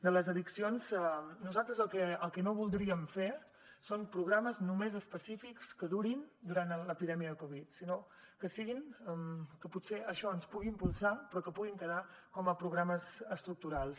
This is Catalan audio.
de les addiccions nosaltres el que no voldríem fer són programes només específics que durin durant l’epidèmia de covid sinó que potser això ens pugui impulsar però que puguin quedar com a programes estructurals